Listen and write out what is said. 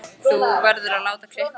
Þú verður að láta klippa þig.